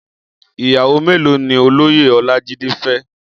Iyàwó méló ni ólóyé Olajide fè?